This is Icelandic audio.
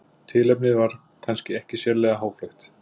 Tilefnið var kannski ekki sérlega háfleygt.